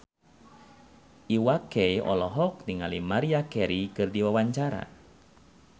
Iwa K olohok ningali Maria Carey keur diwawancara